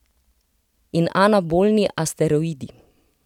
In anabolni asteroidi.